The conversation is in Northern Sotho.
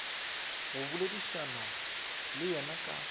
go boledišana le yena ka